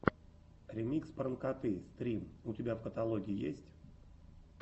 ремикс пранкоты стрим у тебя в каталоге есть